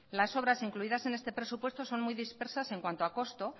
la obras incluidas en este presupuesto son muy dispersas en cuanto costo